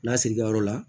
Lasiri ka yɔrɔ la